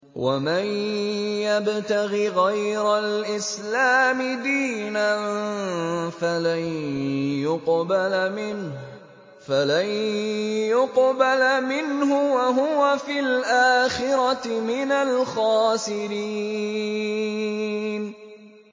وَمَن يَبْتَغِ غَيْرَ الْإِسْلَامِ دِينًا فَلَن يُقْبَلَ مِنْهُ وَهُوَ فِي الْآخِرَةِ مِنَ الْخَاسِرِينَ